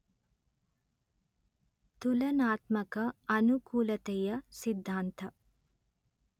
ತುಲನಾತ್ಮಕ ಅನುಕೂಲತೆಯ ಸಿದ್ಧಾಂತ